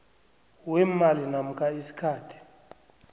weemali namkha isikhathi